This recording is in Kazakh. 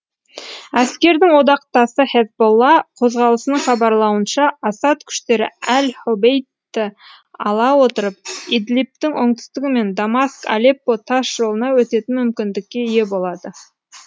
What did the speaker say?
әскердің одақтасы хезболла қозғалысының хабарлауынша асад күштері әл хобейтті ала отырып идлибтің оңтүстігі мен дамаск алеппо тас жолына өтетін мүмкіндікке ие болады